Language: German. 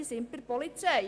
– Bei der Polizei.